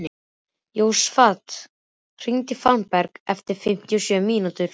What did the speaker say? Jósafat, hringdu í Fannberg eftir fimmtíu og sjö mínútur.